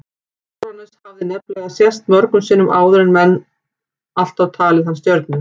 Úranus hafði nefnilega sést mörgum sinnum áður en menn alltaf talið hana stjörnu.